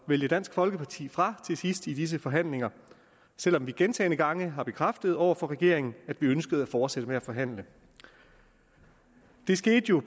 vælge dansk folkeparti fra til sidst i disse forhandlinger selv om vi gentagne gange har bekræftet over for regeringen at vi ønskede at fortsætte med at forhandle det skete jo